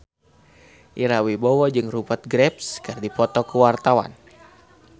Ira Wibowo jeung Rupert Graves keur dipoto ku wartawan